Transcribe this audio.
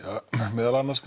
meðal annars